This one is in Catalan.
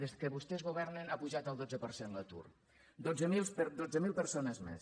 des que vostès governen ha pujat el dotze per cent l’atur dotze mil persones més